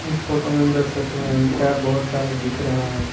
इस फोटो में अंदर से टायर बहुत सारे दिख रहे हैं।